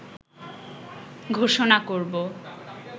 ঘোষণা করব